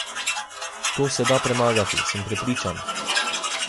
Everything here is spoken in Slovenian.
To se da premagati, sem prepričan.